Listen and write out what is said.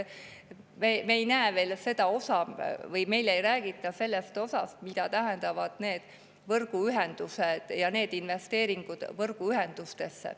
Me ei näe veel seda või meile ei räägita sellest osast, mida tähendavad need võrguühendused ja investeeringud võrguühendustesse.